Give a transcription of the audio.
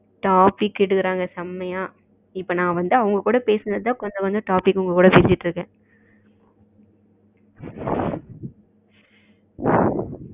topic எடுக்கிறாங்க செமையா இப்போ நா அவங்க கிட்ட பேசுனதா topic உங்க கூட பேசிகிட்டு இருக்கேன்